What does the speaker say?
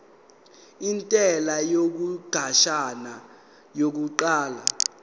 intela yesikhashana yokuqala